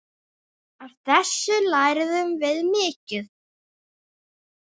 Af þessu lærðum við mikið.